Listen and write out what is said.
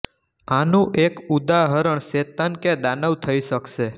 આનું એક ઉદાહરણ શેતાન કે દાનવ થઇ શકશે